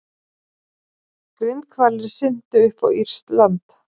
Grindhvalir syntu upp á írskt land